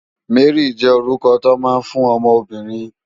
Mary jè órúkò tó má n fún òmò óbìrín